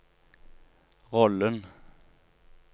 rollen